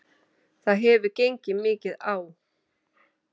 Það hefur gengið mikið á!